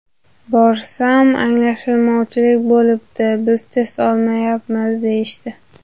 Borsam: ‘Anglashilmovchilik bo‘libdi, biz test olmayapmiz’, deyishdi.